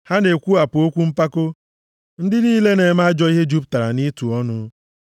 Ha na-ekwuwapụ okwu mpako; ndị niile na-eme ajọ ihe jupụtara nʼitu ọnụ.